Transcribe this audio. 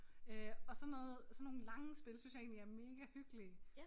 Øh og sådan noget sådan nogle lange spil synes jeg egentlig er megahyggeligge